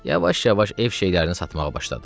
Yavaş-yavaş ev şeylərini satmağa başladı.